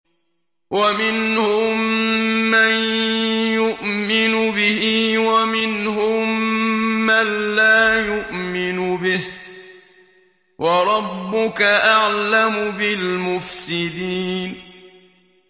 وَمِنْهُم مَّن يُؤْمِنُ بِهِ وَمِنْهُم مَّن لَّا يُؤْمِنُ بِهِ ۚ وَرَبُّكَ أَعْلَمُ بِالْمُفْسِدِينَ